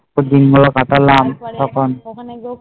দুদিন ধরে কাটালাম